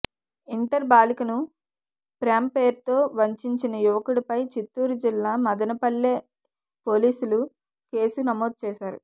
inter బాలికను ప్రేమ పేరుతో వంచించిన యువకుడిపై చిత్తూరు జిల్లా మదనపల్లె పోలీసులు కేసు నమోదు చేశారు